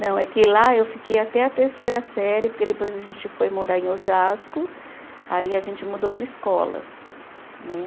Não, é que lá eu fiquei até a terceira série, porque depois a gente foi morar em Osasco, aí a gente mudou de escola, né?